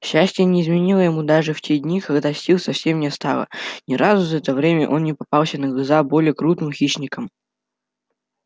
счастье не изменило ему даже в те дни когда сил совсем не стало ни разу за это время он не попался на глаза более крупным хищникам